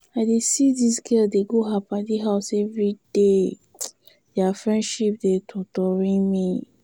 I dey see dis girl dey go her paddy house everyday, their friendship dey totori me.